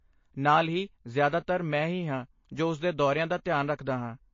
ਨਾਲ ਹੀ, ਜਿਆਦਾਤਰ ਮੈਂ ਹੀ ਹਾਂ ਜੋ ਉਸਦੇ ਦੌਰਿਆਂ ਦਾ ਧਿਆਨ ਰੱਖਦਾ ਹਾਂ।